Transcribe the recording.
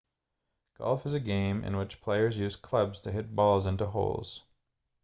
golf is a game in which players use clubs to hit balls into holes